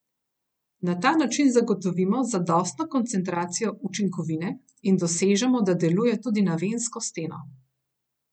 Na ta način zagotovimo zadostno koncentracijo učinkovine in dosežemo, da deluje tudi na vensko steno.